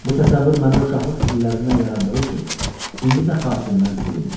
Bu təsəvvür məndə uşaqlıq illərindən yarandığı üçün indi də xatirimdən silinmir.